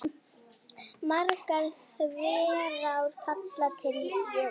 Margar þverár falla til Jöklu.